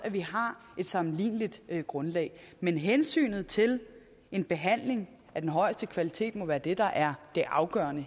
at vi har et sammenligneligt grundlag men hensynet til en behandling af den højeste kvalitet må være det der er det afgørende